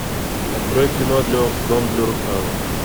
открой кино дом для русалок